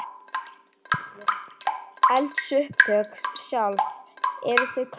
Gísli: Eldsupptök sjálf, eru þau klár?